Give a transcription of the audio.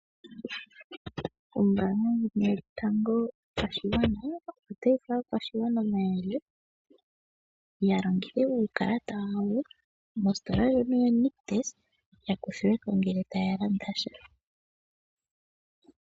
Ombaanga ndjono yotango yopashigwana otayi oe aakwashigwana omayele ya longithe uukalata wawo mositola ndjono yo Nictus, ya kuthilweko ngele taya landa sha.